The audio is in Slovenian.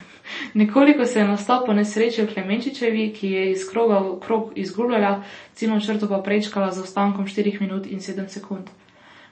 Nekoliko se je nastop ponesrečil Klemenčičevi, ki je iz kroga v krog izgubljala, ciljno črto pa prečkala z zaostankom štirih minut in sedmih sekund.